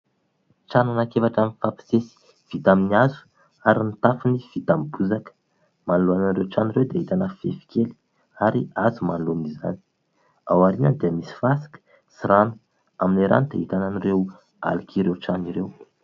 Trano anankiefatra mifampisisika, vita amin'ny hazo ary ny tafony vita amin'ny bozaka. Manoloana an'ireo trano ireo dia ahitana fefy kely ary hazo manoloana izany. Ao aorianany dia misy fasika sy rano. Amin'ny rano dia ahitana an'ireo alok'ireo trano ireo.